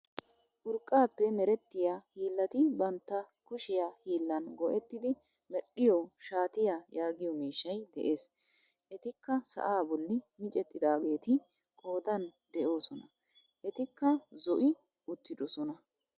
Urqqaappe merettiyaa hillati bantta kushiyaa hiillan go"ettidi medhiyoo shaatiyaa yaagiyoo miishshay de'ees. etikka sa'aa bolli micettidaageeti qoodan de'oosona. etikka zo'i uttidosona.